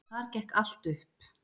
Þar gekk allt upp.